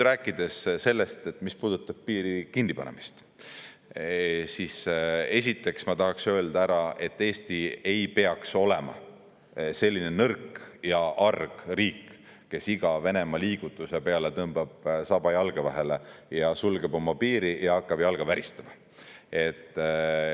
Rääkides piiri kinnipanemisest, siis esiteks ma tahaks öelda ära, et Eesti ei peaks olema selline nõrk ja arg riik, kes iga Venemaa liigutuse peale tõmbab saba jalge vahele ja sulgeb oma piiri ja hakkab jalga väristama.